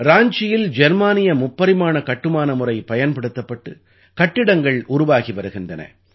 ராஞ்சியில் ஜெர்மானிய முப்பரிமாண கட்டுமான முறை பயன்படுத்தப்பட்டு கட்டிடங்கள் உருவாகி வருகின்றன